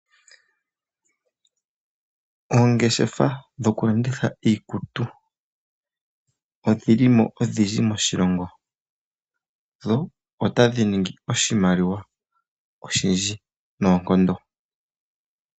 Oongeshefa dho ku landitha iikutu odhili mo odhindji moshilongo, dho otadhi ningi oshimaliwa oshindji noonkondo.